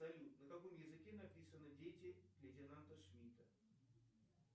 салют на каком языке написаны дети лейтенанта шмидта